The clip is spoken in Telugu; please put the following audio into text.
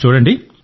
చూడండి